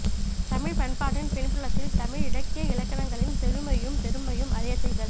தமிழ் பண்பாட்டின் பின்புலத்தில் தமிழ் இலக்கிய இலக்கணங்களின் செழுமையையும் பெருமையையும் அறியச் செய்தல்